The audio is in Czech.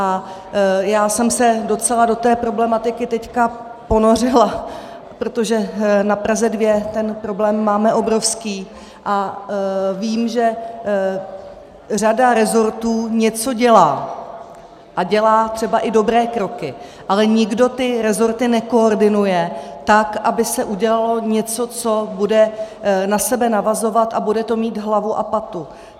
A já jsem se docela do té problematiky teď ponořila, protože na Praze 2 ten problém máme obrovský a vím, že řada resortů něco dělá, a dělá třeba i dobré kroky, ale nikdo ty resorty nekoordinuje tak, aby se udělalo něco, co bude na sebe navazovat a bude to mít hlavu a patu.